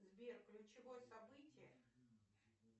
сбер ключевое событие